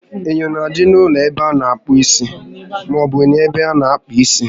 Enyo na-adị n'ụlọ ebe a na akpụ isi maọbụ n'ebe ana àkpà isi